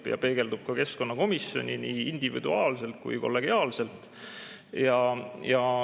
Ja neid peegeldub ka keskkonnakomisjoni nii kellelegi individuaalselt kui kollegiaalselt.